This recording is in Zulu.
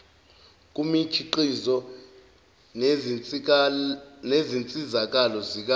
kumikhiqizo nezinsizakalo zika